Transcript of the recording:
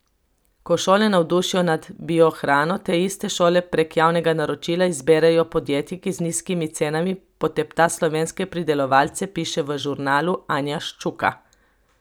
Ko šole navdušijo nad biohrano, te iste šole prek javnega naročila izberejo podjetje, ki z nizkimi cenami potepta slovenske pridelovalce, piše v Žurnalu Anja Ščuka.